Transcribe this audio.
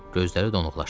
Gözləri donuqlaşdı.